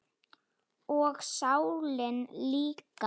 Og sálina líka.